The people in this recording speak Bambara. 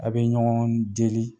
Aw bɛ ɲɔgɔn deli